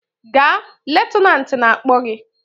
Gaa! Lutenat na-akpọ gị!